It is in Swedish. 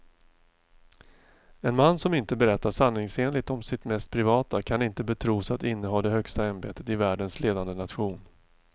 En man som inte berättar sanningsenligt om sitt mest privata kan inte betros att inneha det högsta ämbetet i världens ledande nation.